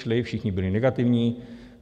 Šli, všichni byli negativní.